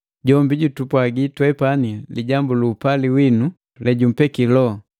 Jombi jutupwagi twepani lijambu lu upali winu lejumpeki Loho.